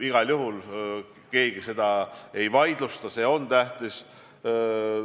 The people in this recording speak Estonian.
Igal juhul keegi ei vaidlusta, et see on tähtis.